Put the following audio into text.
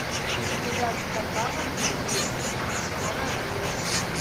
у тебя в каталоге есть скорая помощь